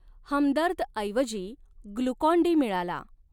हमदर्दऐवजी Glucon D मिळाला.